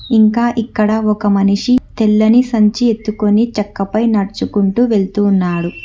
ఇంకా ఇక్కడ ఒక మనిషి తెల్లని సంచి ఎత్తుకొని చక్క పైన నడుచుకుంటూ వెళుతున్నాడు.